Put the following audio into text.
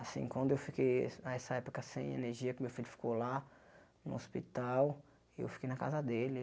Assim, quando eu fiquei es nessa época sem energia, que meu filho ficou lá no hospital, eu fiquei na casa dele.